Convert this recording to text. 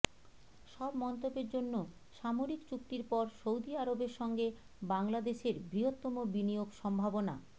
সব মন্তব্যের জন্য সামরিক চুক্তির পর সৌদি আরবের সঙ্গে বাংলাদেশের বৃহত্তম বিনিয়োগ সম্ভাবনা